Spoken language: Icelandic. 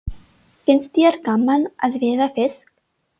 Finnst þér gaman að veiða fisk?